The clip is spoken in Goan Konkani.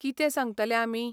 कितें सांगतले आमी?